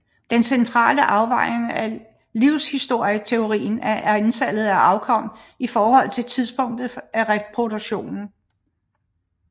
Den centrale afvejning i livshistorieteorien er antallet af afkom i forhold til tidspunktet af reproduktion